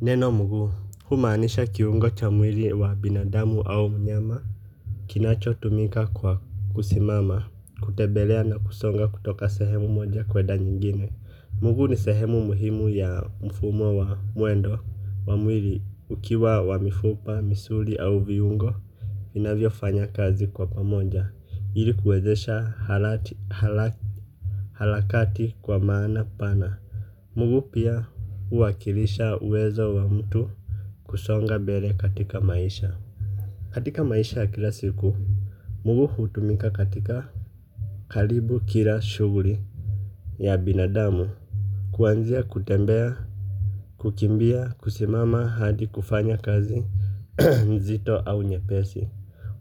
Neno mguu humaanisha kiungo cha mwili wa binadamu au mnyama. Kinacho tumika kwa kusimama kutebelea na kusonga kutoka sehemu moja kwedanyingine. Mguu ni sehemu muhimu ya mfumo wa muendo wa mwili ukiwa wa mifupa misuli au viungo. Inavyo fanya kazi kwa pamoja ilikuwezesha halakati kwa maana pana. Mguu pia uwakilisha uwezo wa mtu. Kusonga bele katika maisha. Katika maisha ya kila siku mugu hutumika katika kalibu kila shuguri ya binadamu kuanzia kutembea kukimbia kusimama hadi kufanya kazi zito au nye pesi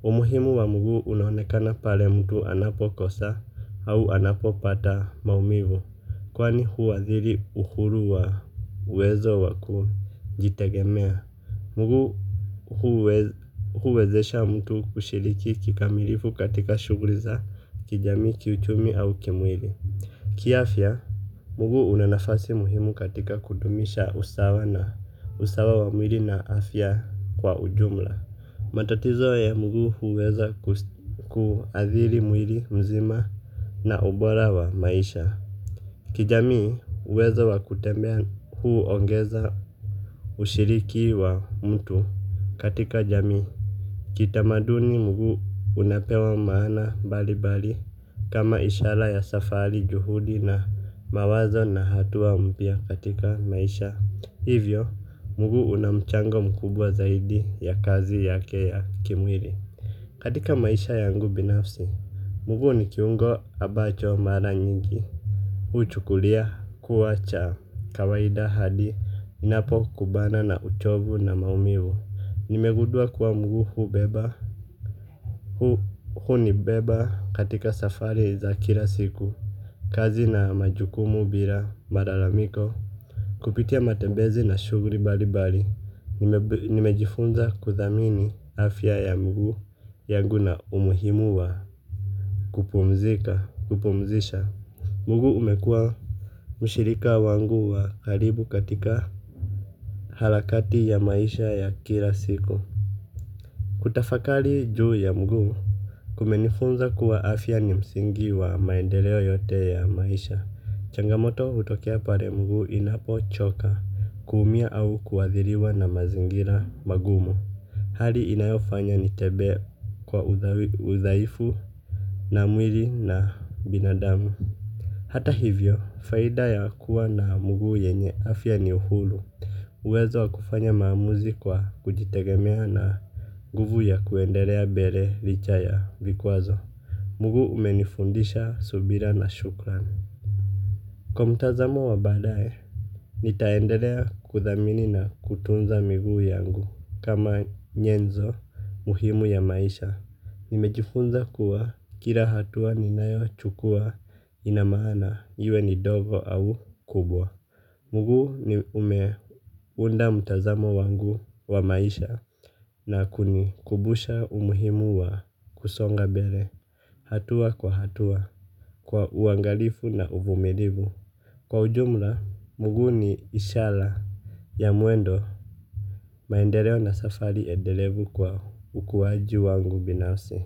umuhimu wa mguu unaonekana pale mtu anapokosa au anapopata maumivu kwani huathiri uhuru wa uwezo wa kujitegemea. Mugu mugu huwezesha mtu kushiliki kikamilifu katika shuguliza kijami kiuchumi au kimwili. Kia afya. Mugu unanafasi muhimu katika kudumisha usawa wa mwili na afya kwa ujumla. Matatizo ya mugu huweza kuadhiri mwili mzima na ubora wa maisha. Kijami huwezo wa kutembea huu ongeza ushiriki wa mtu katika jami. Kitamaduni mugu unapewa maana bali bali kama ishala ya safari, juhudi na mawazo na hatuwa mpia katika maisha. Hivyo, mugu unamchango mkubwa zaidi ya kazi yake ya kimwiri. Katika maisha yangu binafsi, mugu ni kiungo abacho mara nyingi. Huchukulia kuwa cha kawaida hadi ninapokumbana na uchovu na maumivu. Nimegudua kuwa mgu huu beba. Hu ni beba katika safari za kila siku. Kazi na majukumu bila malalamiko. Kupitia matebezi na shugri balibali. Nimejifunza kuthamini afya ya mgu. Yangu na umuhimua kupumzika kupumzisha mgu umekua. Mushirika wangu wa karibu katika halakati ya maisha ya kila siku. Kutafakali juu ya mgu. Kumenifunza kuwa afya ni msingi wa maendeleo yote ya maisha. Changamoto utokea pare mgu inapo choka. Kuumia au kuadhiriwa na mazingira magumu. Hali inayofanya nitebe kwa udhaifu na mwili na binadamu. Hata hivyo, faida ya kuwa na mgu yenye afya ni uhulu. Uwezo wa kufanya mamuzi kwa kujitegemea na guvu ya kuendelea bere lichaya vikuazo. Mugu umenifundisha subira na Shukran. Kwa mtazamo wa badaye. Nitaendelea kuthamini na kutunza miguu yangu kama nyenzo muhimu ya maisha. Nimejifunza kuwa kila hatua ni nayo chukua inamana iwe ni dogo au kubwa. Mugu ni umeunda mtazamo wangu wa maisha na kunikubusha umuhimu wa kusonga mbele hatua kwa hatua kwa uangalifu na uvumilivu kwa ujumla mgu ni ishara ya muendo. Maendeleo na safari edelevu kwa ukuwaji wangu binafsi.